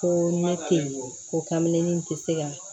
Ko ne te ko kame ni n te se ka